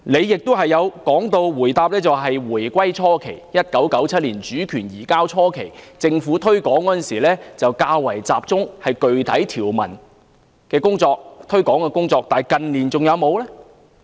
局長在答覆時又提到，在回歸初期，即1997年主權移交初期，政府推廣《基本法》時較集中於具體條文的推廣工作，但近年還有沒有這樣做呢？